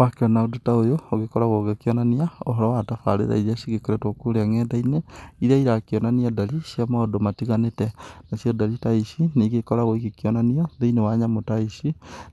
Wakĩona ũndũ ta ũyũ ũgĩkoragwo ũgĩkĩonania ũhoro wa tafarĩra iria cigĩkoretwo kũrĩa nenda-inĩ. Iria irakĩonania ndari cia maũndũ matiganĩte. Nacio ndari ta ici nĩ igĩkoragwo ikionania thĩinĩ wa nyamũ ta ici,